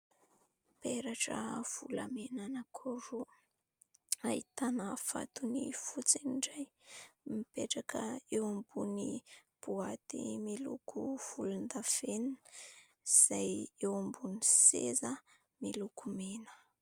Peratra volamena anankiroa ahitana vatony fotsy ny iray, mipetraka eo ambonin'ny boaty miloko volondavenona izay eo ambonin'ny seza miloko mena.